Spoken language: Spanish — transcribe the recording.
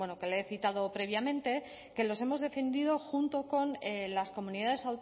que le he citado previamente que los hemos defendido junto con las comunidades